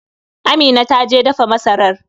Amina ta je dafa masarar.